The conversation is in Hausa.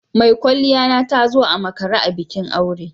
Mai kwalliya na ta zo a makare a bikin aure.